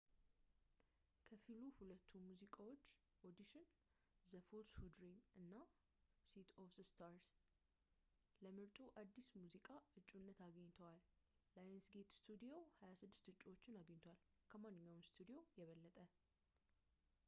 ከፊሉ ሁለቱ ሙዚቃዎች፣ ኦዲሽን ዘ ፉልስ ሁ ድሪም እና ሲተ ኦፍ ስታርስ፣ ለምርጡ አዲስ ሙዚቃ እጩነት አግኝተዋል። ላየንስጌት ስቱዲዮ 26 እጩዎችን አገኝቷል — ከማንኛውም ስቱዲዮ የበለጠ